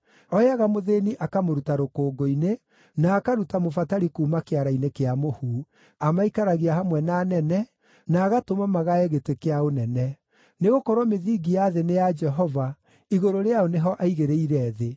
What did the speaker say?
Ooyaga mũthĩĩni akamũruta rũkũngũ-inĩ, na akaruta mũbatari kuuma kĩara-inĩ kĩa mũhu; amaikaragia hamwe na anene, na agatũma magae gĩtĩ kĩa ũnene. “Nĩgũkorwo mĩthingi ya thĩ nĩ ya Jehova; igũrũ rĩayo nĩho aigĩrĩire thĩ.